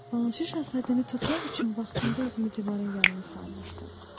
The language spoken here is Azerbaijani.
Balaca Şahzadəni tutmaq üçün vaxtında özümü divarın yanına salmışdım.